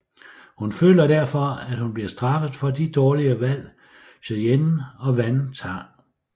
Hun føler derfor at hun bliver straffet for de dårlige valg Cheyenne og Van tager